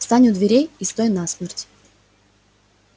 встань у двери и стой насмерть